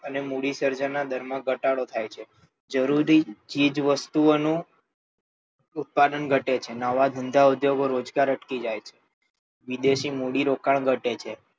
અને મૂડી સર્જનના દરમાં ઘટાડો થાય છે જરૂરી ચીજવસ્તુઓનું ઉત્પાદન ઘટે છે નવા ધંધાઉદ્યોગો રોજગાર અટકી જાય છે વિદેશી મૂડીરોકાણ ઘટે છે